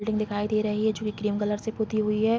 Building दिखाई दे रही है जो कि क्रीम कलर से पुती हुई है ।